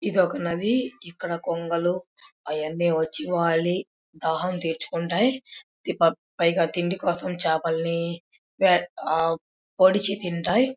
ఇది ఒక నది ఇక్కడికి కొంగలు అవన్నీ వచ్చి వలి దాహం తీర్చుకుంటాయి పైగా తిండి కోసం చాపలని వెట్ ఆ పొడిచి తింటాయి.